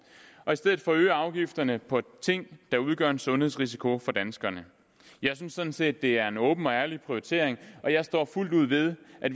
og i stedet forøge afgifterne på ting der udgør en sundhedsrisiko for danskerne jeg synes sådan set det er en åben og ærlig prioritering og jeg står fuldt ud ved at